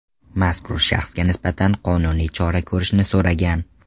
Mazkur shaxsga nisbatan qonuniy chora ko‘rishni so‘ragan.